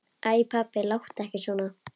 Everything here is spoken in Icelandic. Æ pabbi, láttu ekki svona.